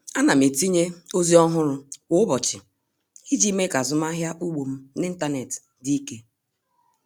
A na m etinye ozi ọhụrụ kwa ụbọchị iji mee ka azụmahịa ugbo m n'ịntanetị dị ike.